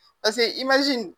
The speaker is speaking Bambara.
Paseke